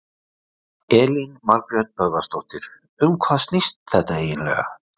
Elín Margrét Böðvarsdóttir: Um hvað snýst þetta eiginlega?